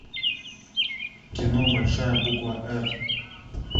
кино большая буква р